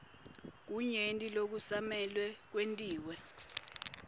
kunyenti lokusamele kwentiwe